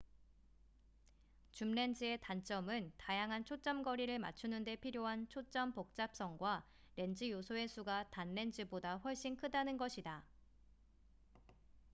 줌렌즈의 단점은 다양한 초점거리를 맞추는데 필요한 초점 복잡성과 렌즈 요소의 수가 단렌즈보다 훨씬 크다는 것이다